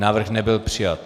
Návrh nebyl přijat.